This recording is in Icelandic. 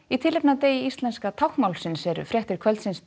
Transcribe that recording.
í tilefni af degi íslenska táknmálsins eru fréttir kvöldsins